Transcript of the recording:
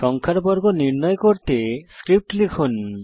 সংখ্যার বর্গ নির্ণয় করতে স্ক্রিপ্ট লিখুন